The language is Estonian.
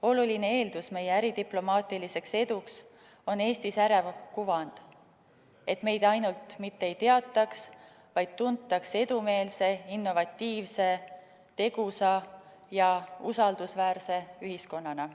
Oluline eeldus meie äridiplomaatiliseks eduks on Eesti särav kuvand – et meid ainult mitte ei teataks, vaid tuntaks edumeelse, innovatiivse, tegusa ja usaldusväärse ühiskonnana.